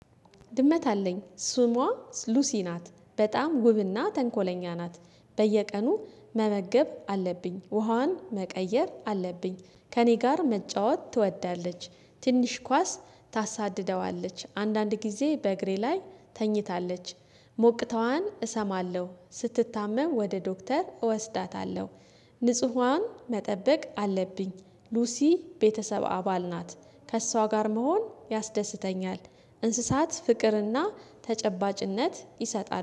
ድመት አለኝ ስሟ ሉሲ ናት በጣም ውብና ተንኮለኛ ናት። በየቀኑ መመገብ አለብኝ ውሃዋን መቀየር አለብኝ። ከእኔ ጋር መጫወት ትወዳለች። ትንሽ ኳስ ታሳድደዋለች አንዳንድ ጊዜ በእግሬ ላይ ተኝታለች። ሞቅታዋን እሰማለሁ ስትታመም ወደ ዶክተር እወስዳታለሁ። ንጹሃን መጠበቅ አለብኝ። ሉሲ ቤተሰብ አባል ናት። ከእሷ ጋር መሆን ያስደስተኛል። እንስሳት ፍቅርና ተጨባጭነት ይሰጣል